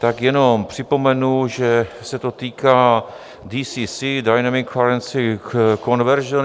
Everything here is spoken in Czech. Tak jenom připomenu, že se to týká DCC, dynamic currency conversion.